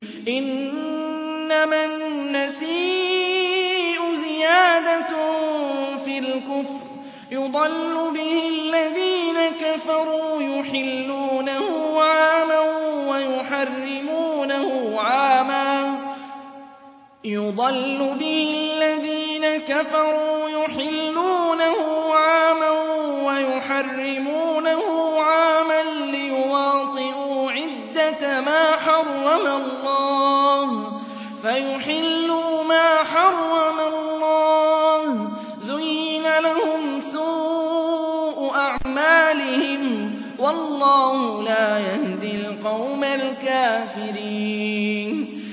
إِنَّمَا النَّسِيءُ زِيَادَةٌ فِي الْكُفْرِ ۖ يُضَلُّ بِهِ الَّذِينَ كَفَرُوا يُحِلُّونَهُ عَامًا وَيُحَرِّمُونَهُ عَامًا لِّيُوَاطِئُوا عِدَّةَ مَا حَرَّمَ اللَّهُ فَيُحِلُّوا مَا حَرَّمَ اللَّهُ ۚ زُيِّنَ لَهُمْ سُوءُ أَعْمَالِهِمْ ۗ وَاللَّهُ لَا يَهْدِي الْقَوْمَ الْكَافِرِينَ